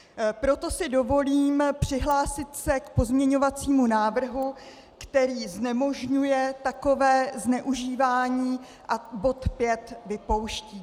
Proto si dovolím přihlásit se k pozměňovacímu návrhu, který znemožňuje takové zneužívání a bod 5 vypouští.